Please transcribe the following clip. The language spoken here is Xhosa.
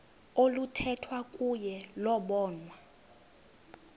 oluthethwa kuyo lobonwa